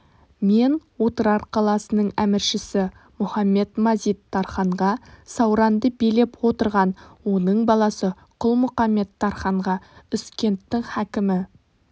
мен отырар қаласының әміршісі мұхамед-мазид тарханға сауранды билеп отырған оның баласы құлмұқамет тарханға үзкенттің хакімі